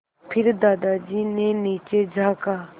फिर दादाजी ने नीचे झाँका